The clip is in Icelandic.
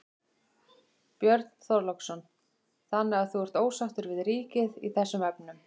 Björn Þorláksson: Þannig að þú ert ósáttur við ríkið í þessum efnum?